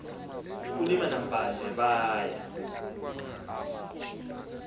kulima namblanje baya